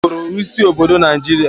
Kalaba bụụrụ isi obodo Naijiria.